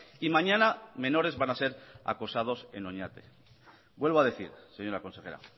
y mañana menores van a ser acosados en oñate vuelvo a decir señora consejera